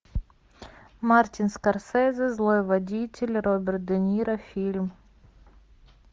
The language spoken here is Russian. мартин скорсезе злой водитель роберт де ниро фильм